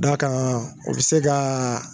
D'a kan o be se kaa